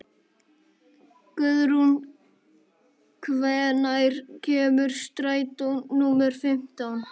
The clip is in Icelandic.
Guðrún, hvenær kemur strætó númer fimmtán?